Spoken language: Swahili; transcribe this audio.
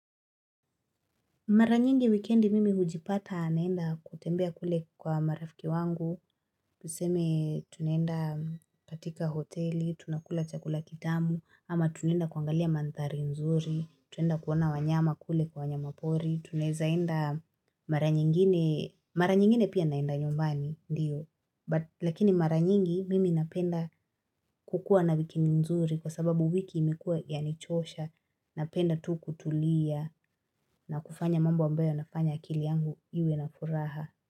Mara nyingi wikendi mimi hujipata naenda kutembea kule kwa marafiki wangu, tuseme tunaenda katika hoteli, tunakula chakula kitamu, ama tunaenda kuangalia mandhari nzuri, twaenda kuona wanyama kule kwa wanyama pori, tunezaenda mara nyingine, mara nyingine pia naenda nyumbani, ndiyo. Lakini mara nyingi mimi napenda kukuwa na wikendi nzuri kwa sababu wiki imekuwa yanichosha napenda tu kutulia na kufanya mambo ambayo yanafanya akili yangu iwe na furaha.